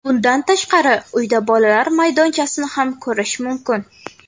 Bundan tashqari uyda bolalar maydonchasini ham ko‘rish mumkin.